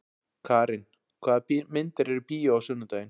Karin, hvaða myndir eru í bíó á sunnudaginn?